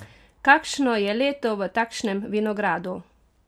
Kakšno je leto v takšnem vinogradu?